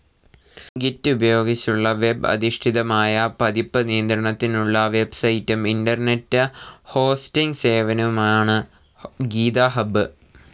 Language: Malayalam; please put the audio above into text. ഗിറ്റ്‌ ഉപയോഗിച്ചുള്ള വെബ് അധിഷ്ഠിതമായ പതിപ്പ് നിയത്രണത്തിനുള്ള വെബ്‌സൈറ്റും ഇന്റർനെറ്റ്‌ ഹോസ്റ്റിംഗ്‌ സേവനവുമാണു ഗീതഹബ്ബ്.